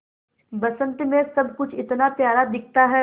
बसंत मे सब कुछ इतना प्यारा दिखता है